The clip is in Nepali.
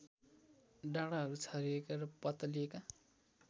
डाँडाहरू छरिएका र पातलिएका